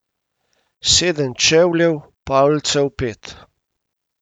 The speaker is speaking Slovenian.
Sedem čevljev, palcev pet.